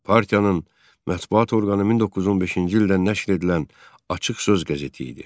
Partiyanın mətbuat orqanı 1915-ci ildə nəşr edilən "Açıq Söz" qəzeti idi.